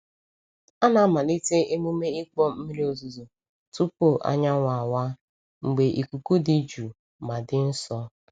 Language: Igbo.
A na-amalite emume ịkpọ mmiri ozuzo tupu anyanwụ awa, mgbe ikuku dị jụụ ma dị nsọ.